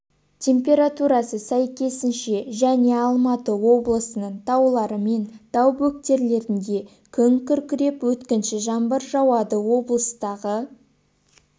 температурасы сәйкесінше және алматы облысының таулары мен тау бөктерлерінде күн күркіреп өткінші жаңбыр жауады облыстағы